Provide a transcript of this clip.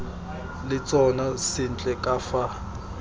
le tsona sentle ka fa